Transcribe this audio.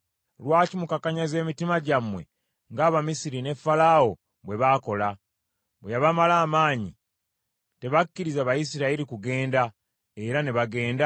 Lwaki mukakanyaza emitima gyammwe ng’Abamisiri ne Falaawo bwe baakola? Bwe yabamala amaanyi, tebakkiriza Bayisirayiri kugenda era ne bagenda?